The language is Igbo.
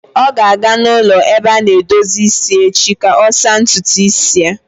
Ọ ga-aga n'ụlọ ebe a na-edozi isi echi ka ọ saa ntutu isi ya.